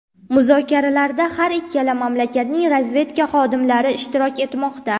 Muzokaralarda har ikkala mamlakatning razvedka xodimlari ishtirok etmoqda.